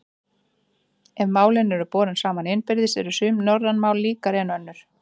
Ef málin eru borin saman innbyrðis eru sum norræn mál líkari en önnur.